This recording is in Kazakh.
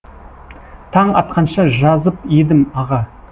таң атқанша жазып едім аға